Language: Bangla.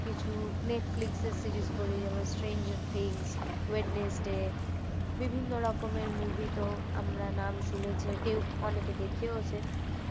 কিছু netflix এর series বলি যেমন stranger things wednesday বিভিন্ন রকমের movie তো আমরা নাম শুনেছি কেউ অনেকে দেখেওছে